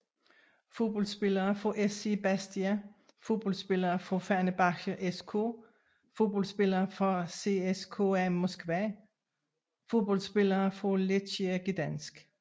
Fodboldspillere fra SC Bastia Fodboldspillere fra Fenerbahçe SK Fodboldspillere fra CSKA Moskva Fodboldspillere fra Lechia Gdańsk